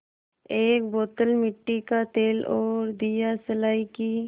एक बोतल मिट्टी का तेल और दियासलाई की